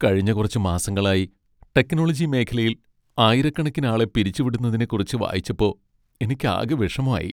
കഴിഞ്ഞ കുറച്ച് മാസങ്ങളായി ടെക്നോളജി മേഖലയിൽ ആയിരക്കണക്കിനാളെ പിരിച്ചുവിടുന്നതിനെക്കുറിച്ച് വായിച്ചപ്പോ എനിക്കാകെ വിഷമായി.